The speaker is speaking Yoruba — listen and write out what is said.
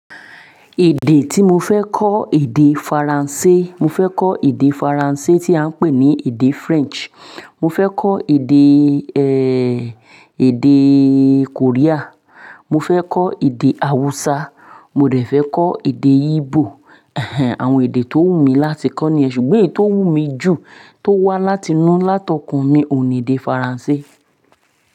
Èdè tí mo fẹ́ kọ èdè Faransé. Mo fẹ́ kọ èdè Faransé tí a ń pè ní èdè French. Mo fẹ́ kọ èdè, eh, èdè Korea. Mo fẹ́ kọ èdè Hausa. Mo dẹ fẹ́ kọ èdè Igbo. Àwọn èdè tó wù mí láti kọ nìyen ṣùgbọ́n èyí tó wù mí jù tó wà láti inú látọkùn mi ò ní èdè Faransé.